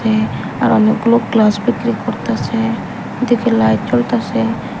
এ আরো অনেকগুলো গ্লাস বিক্রি করতাছে দেখি লাইট জ্বলতাসে।